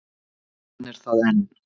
Hann er það enn.